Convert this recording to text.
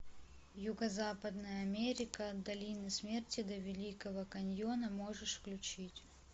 юго западная америка от долины смерти до великого каньона можешь включить